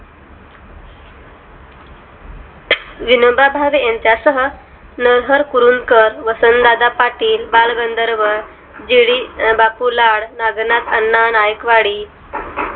विनोबा भावे ह्यांच्या सह नरहर कुरुंकर वसंतदादा पाटील बालगंधर्व जीडी बाप्पू लाड नागनाथ अण्णा नाईकवाडी